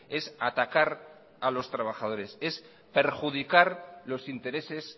es atacar a los trabajadores es perjudicar los intereses